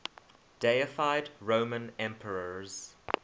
deified roman emperors